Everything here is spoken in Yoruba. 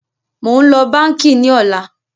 Mo ń lọ báńkì ní ọ̀la